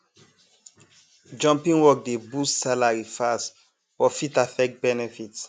jumping work dey boost salary fast but fit affect benefits